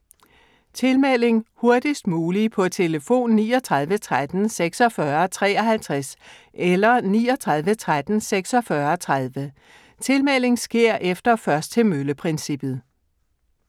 Tilmelding: Hurtigst muligt på telefon 39 13 46 53 eller 39 13 46 30. Tilmelding sker efter først til mølle-princippet.